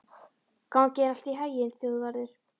Gangi þér allt í haginn, Þjóðvarður.